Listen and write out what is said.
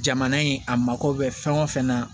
Jamana in a mako bɛ fɛn o fɛn na